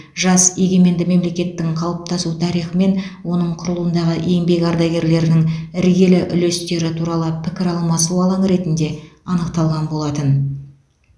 жас егеменді мемлекеттің қалыптасу тарихы мен оның құрылуындағы еңбек ардагерлерінің іргелі үлестері туралы пікір алмасу алаңы ретінде анықталған болатын